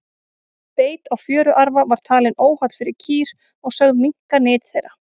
beit á fjöruarfa var talinn óholl fyrir kýr og sögð minnka nyt þeirra